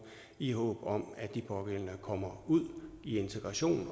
i håb om at de pågældende kommer ud i integration